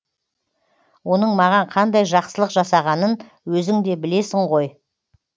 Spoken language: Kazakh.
оның маған қандай жақсылық жасағанын өзің де білесің ғой